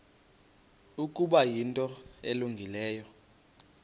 ukuba yinto elungileyo